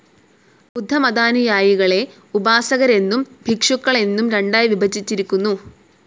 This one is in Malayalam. ബുദ്ധമതാനുയായികളെ ഉപാസകരെന്നും ഭിക്ഷുക്കളെന്നും രണ്ടായി വിഭജിച്ചിരിക്കുന്നു.